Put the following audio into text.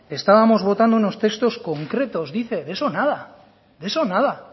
estábamos votando unos textos concretos dice de eso nada de eso nada